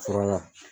Fɔlɔ la